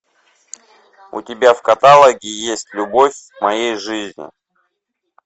у тебя в каталоге есть любовь моей жизни